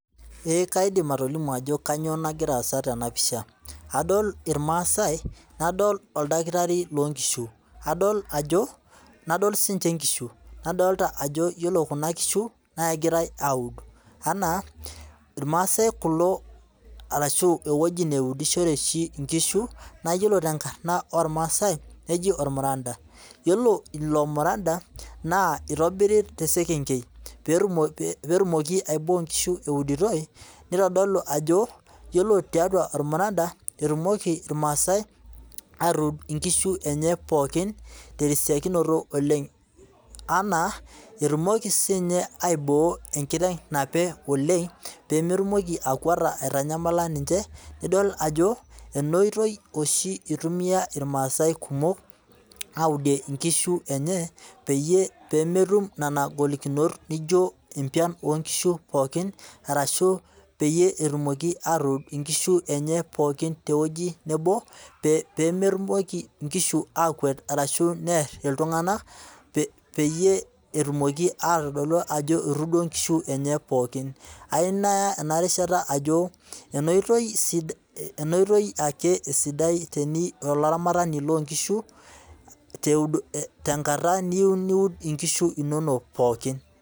Ee kaidim atolimu ajo kainyoo nagiraa aasa tena pisha ,adol irmaasai ,nadol oldakitari loonkishu nadolita siininche nkishu ,nadolita ajo yiolo Kuna kishu naa kegirae aud anaairmaasai kulo arashu eweji oshi neudishore onkishu naa yiolo tenkarna irmasai nejia ormaranda .yiolo ilo muranda naa eitobiri tesekengei pee etumoki aiboo nkishu euditoi nitodolu ajo yiolo tiatua ormuranda etumoki irmaasai atud nkishu enye pookin tesiokinoto oleng enaa etumoki siininye aiboo enkiteng nape oleng pee emtumoki akwata aitanyamala ninche, nidol ajo ena oitoi oshi eitumia irmaasai kumok aaud nkishu enye peyie metum nena golikinomot naijo empian oonkishu orashu peyie etumoki aaatud nkishu enye pookin teweji nebo, pee metumoki nkishu akwet orashua aar ltunganak ,peyie etumoki aitodolu ajo etuudo nkishu enye pookin. ayieu naya enarishata ajo ena oitoi ake esidai tolaramatani loonkishu ,teniyieu niud nkishu inonok pookin.